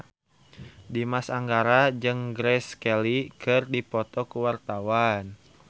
Dimas Anggara jeung Grace Kelly keur dipoto ku wartawan